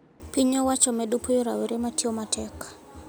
Piny owacho medo puoyo rowere matiyo matek